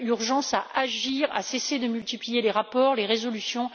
Il y a urgence à agir, à cesser de multiplier les rapports, les résolutions.